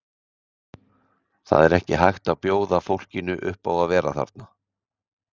Það er ekki hægt að bjóða fólkinu upp á að vera þarna.